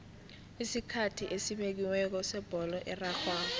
isikhathi esibekiweko sebholo erarhwako